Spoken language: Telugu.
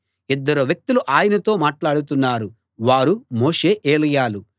ఇద్దరు వ్యక్తులు ఆయనతో మాట్లాడుతున్నారు వారు మోషే ఏలీయాలు